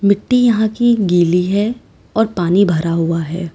मिट्टी यहां की गली है और पानी भरा हुआ है।